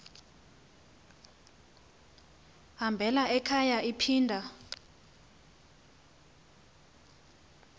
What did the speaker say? hambela ekhaya iphinda